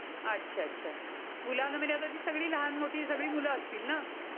अच्छा अच्छा. मुलांमध्ये सगळी लहान मोठी सगळी मुलं असतील ना.